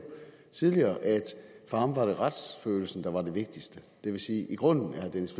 tidligere at for ham var det retsfølelsen der var det vigtigste det vil sige at i grunden er herre dennis